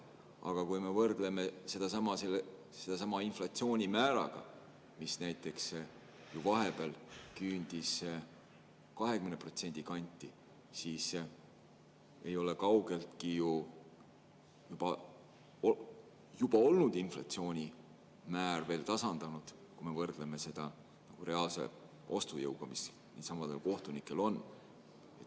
Aga kui me võrdleme seda inflatsioonimääraga, mis vahepeal küündis 20% kanti, siis sellega ei ole kaugeltki juba olnud inflatsioon tasandunud, kui me võrdleme seda reaalse ostujõuga, mis nendelsamadel kohtunikel on.